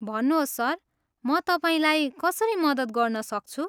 भन्नुहोस् सर, म तपाईँलाई कसरी मद्दत गर्न सक्छु?